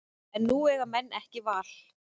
En nú eiga menn ekki val